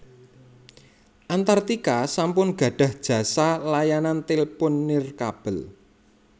Antartika sampun gadhah jasa layanan tèlpon nirkabel